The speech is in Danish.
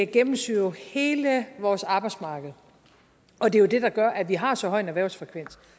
gennemsyrer hele vores arbejdsmarked og det er jo det der gør at vi har så høj en erhvervsfrekvens